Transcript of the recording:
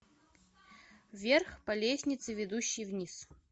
вверх по лестнице ведущей вниз